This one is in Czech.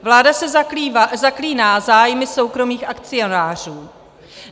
Vláda se zaklíná zájmy soukromých akcionářů.